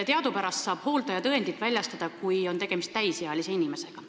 Teadupärast saab hooldajatõendit väljastada, kui on tegemist täisealise inimesega.